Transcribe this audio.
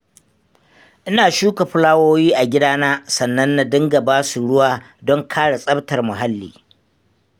Ina shuka fulawowi a gidana sannan na dinga ba su ruwa don kare tsaftar muhalli.